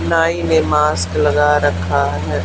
नाई ने मास्क लगा रखा है।